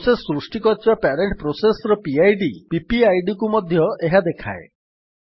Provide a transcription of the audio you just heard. process ସୃଷ୍ଟି କରିଥିବା parent process ର ପିଡ୍ PPIDକୁ ମଧ୍ୟ ଏହା ଦେଖାଏ